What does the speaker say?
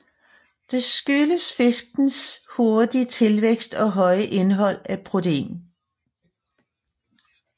Det skyldes fiskens hurtige tilvækst og høje indhold af protein